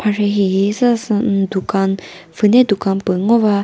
marhi hihi zü sa sü umm dukan pfhüne dukan pü ngo va.